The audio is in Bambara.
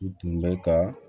U tun bɛ ka